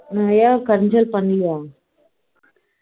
ஏன் கஞ்சல் பண்ணலையா